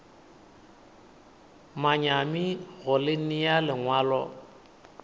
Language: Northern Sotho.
manyami go le nea lengwalo